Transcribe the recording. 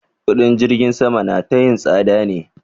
Kuɗin jirgin sama na ta yin tsada ne.